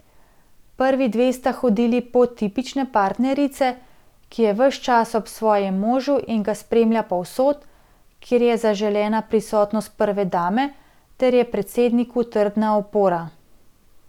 Prvi dve sta hodili pot tipične partnerice, ki je ves čas ob svojem možu in ga spremlja povsod, kjer je zaželena prisotnost prve dame, ter je predsedniku trdna opora.